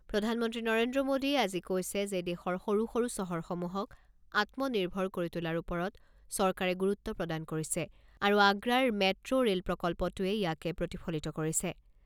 প্ৰধানমন্ত্ৰী নৰেন্দ্ৰ মোডীয়ে আজি কৈছে যে দেশৰ সৰু সৰু চহৰসমূহক আত্ম নিৰ্ভৰ কৰি তোলাৰ ওপৰত চৰকাৰে গুৰুত্ব প্ৰদান কৰিছে আৰু আগ্ৰাৰ মেট ৰেল প্ৰকল্পটোৱে ইয়াকে প্ৰতিফলিত কৰিছে।